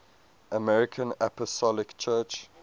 armenian apostolic church